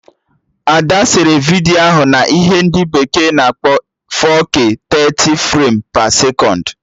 Ada sere vidiyo ahụ na ihe ndị bekee na-akpọ 4K 30 frem pe sekọnd